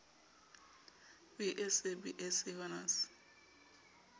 b sc b sc honours